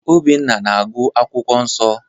Obinna na-agụ akwụkwọ nsọ.